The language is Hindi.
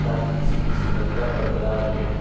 ताकि इसकी सुंदरता बरकरार रहे --